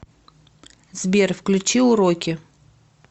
сбер включи уроки